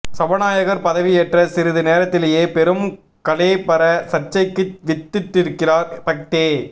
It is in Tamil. சபாநாயகர் பதவி ஏற்ற சிறிது நேரத்திலேயே பெரும் களேபர சர்ச்சைக்கு வித்திட்டிருக்கிறார் பக்தே